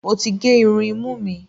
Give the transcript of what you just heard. Mo ti gé irun imú mi.